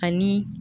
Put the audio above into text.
Ani